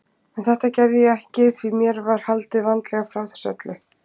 En þetta gerði ég ekki því mér var haldið vandlega frá þessu öllu.